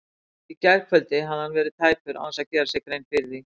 Í gærkvöld hafði hann verið tæpur án þess að gera sér grein fyrir því.